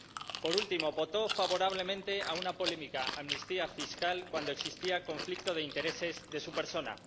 Y, por último, votó favorablemente a una polémica amnistía fiscal cuando existía conflicto de intereses de su persona.